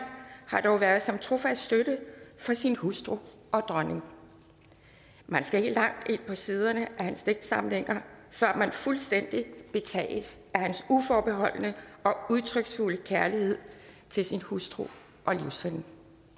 har dog været som trofast støtte for sin hustru og dronning man skal ikke langt ind på siderne af hans digtsamlinger før man fuldstændig betages af hans uforbeholdne og udtryksfulde kærlighed til sin hustru og livsven